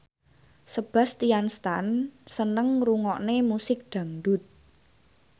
Sebastian Stan seneng ngrungokne musik dangdut